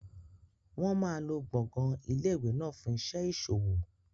Wọn máa lo gbọ̀ngàn ilé ìwé náà fún iṣẹ́ ìṣòwò.